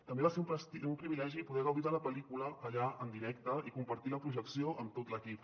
també va ser un privilegi poder gaudir de la pel·lícula allà en directe i compartir la projecció amb tot l’equip